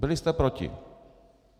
Byli jste proti.